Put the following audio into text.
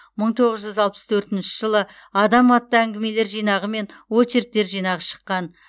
мың тоғыз жүз алпыс төртінші жылы адам атты әңгімелер жинағы мен очерктер жинағы шыққан